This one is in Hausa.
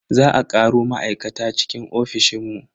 Za a karo ma'aikata cikin ofishin mu.